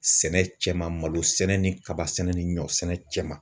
Sɛnɛ cɛ malo sɛnɛ ni kaba sɛnɛ ni ɲɔ sɛnɛ cɛ ma.